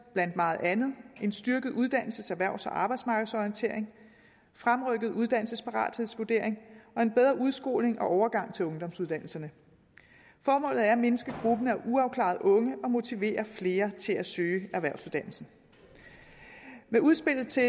blandt meget andet en styrket uddannelses erhvervs og arbejdsmarkedsorientering fremrykket uddannelsesparathedsvurdering og en bedre udskoling og overgang til ungdomsuddannelserne formålet er at mindske gruppen af uafklarede unge og at motivere flere til at søge erhvervsuddannelserne med udspillet til